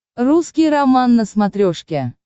русский роман на смотрешке